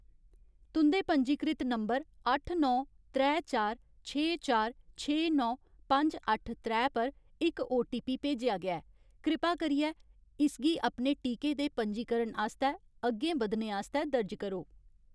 तुं'दे पंजीकृत नंबर अट्ठ नौ, त्रै चार, छे चार, छे नौ, पंज अट्ठ त्रै पर इक ओटीपी भेजेआ गेआ ऐ, कृपा करियै इसगी अपने टीके दे पंजीकरण आस्तै अग्गें बधने आस्तै दर्ज करो।